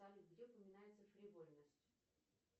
салют где упоминается фривольность